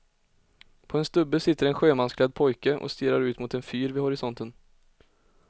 På en stubbe sitter en sjömansklädd pojke och stirrar ut mot en fyr vid horisonten.